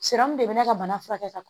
de bɛ ne ka bana furakɛ ka